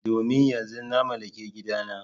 Domin yanzu na mallaki gidana.